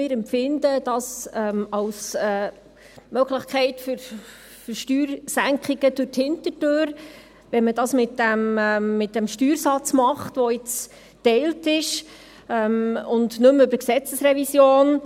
Wir empfinden es als eine Möglichkeit für Steuersenkungen durch die Hintertüre, wenn man dies mit dem Steuersatz tut, der jetzt geteilt ist, und nicht mehr über die Gesetzesrevision.